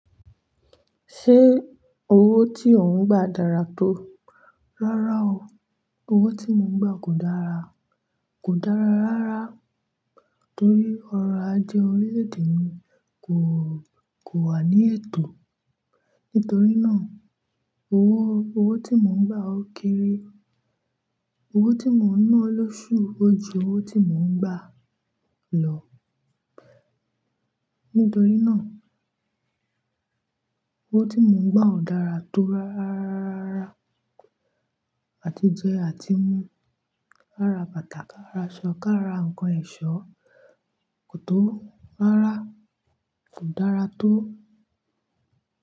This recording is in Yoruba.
Ṣé owó tí ò ń gba dára tó? Rárá o. Owó tí mò ń gba kò dára, kò dára rárá torí ọrọ̀ ajé orílẹ̀-èdè mi kò, kò wà ní ẹ̀tọ́. Nítorí náà, owó, owó tí mò ń gbà ó keere. Owó tí mò ń ná lóṣù ó ju owó tí mò ń gba lọ. Nítorí náà, owó tí mò ń gba ò dára tó ráráraraá. Àti jẹ àti mú, ara bàtà, ká ra aṣọ ká ra ǹkan ẹ̀ṣọ́ kò tó rárá. Kò dára tó.